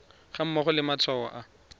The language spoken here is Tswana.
ga mmogo le matshwao a